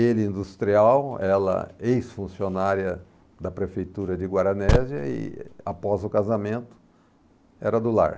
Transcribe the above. Ele industrial, ela ex-funcionária da prefeitura de Guaranésia e após o casamento era do lar.